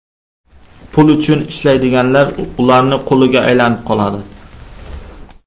Pul uchun ishlaydiganlar ularning quliga aylanib qoladi.